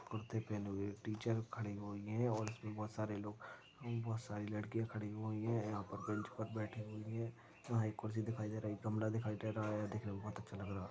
कुर्ती पहने हुए टीचर खड़े हुई हैऔर इसमे बहोत सारे लोग बहुत सारी लड़कियां खड़ी हुई है यहाँ पर बेंच पर बैठे हुई है यहाँ एक कुरसी दिखाई दे रही एक गमला दिखाई दे रहा है देखने को बहोत अच्छा लग रहा।